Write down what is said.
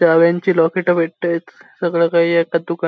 चाव्यांची lockets भेटताएत सगळं काई एकाच दुकानात--